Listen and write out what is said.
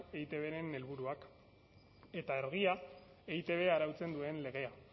eitbren helburuak eta argia eitb arautzen duen legea